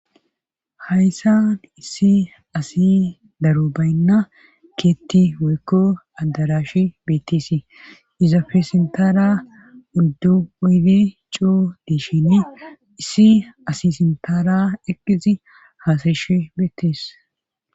hayssan issi asi daro baynna keetti weykko addarashi beettesi izafe sintara urdu oyde coo diishini issi asi sintaara eqqizi haasayesh beettees